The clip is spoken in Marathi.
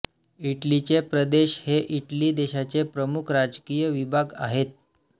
इटलीचे प्रदेश हे इटली देशाचे प्रमुख राजकीय विभाग आहेत